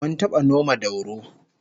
Mun taba noma dauro